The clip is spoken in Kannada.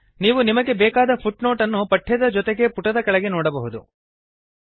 ನೀವು ನಿಮಗೆ ಬೇಕಾದ ಫುಟ್ನೋಟ್ ಅನ್ನು ಪಠ್ಯದ ಜೊತೆಗೆ ಪುಟದ ಕೆಳಗಡೆ ನೋಡಬಹುದು